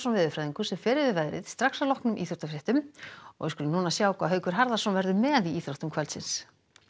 veðurfræðingur fer yfir veðrið að loknum íþróttafréttum og þá skulum við sjá hvað Haukur Harðarson verður með í íþróttum kvöldsins